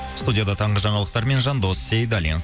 студияда таңғы жаңалықтармен жандос сейдаллин